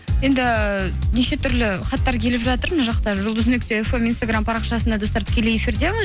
енді неше түрлі хаттар келіп жатыр мына жақта жұлдыз нүкте фм инстаграм парақшасында достар тікелей